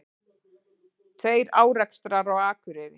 Tveir árekstrar á Akureyri